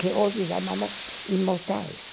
que hoje chamamos imortais.